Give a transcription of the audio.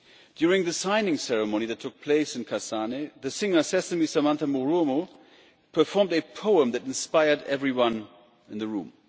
During the signing ceremony that took place in Kasane, the singer Sesame Samantha Marumo performed a poem that inspired everyone in the room.